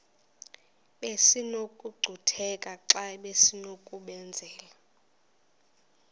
besinokucutheka xa besinokubenzela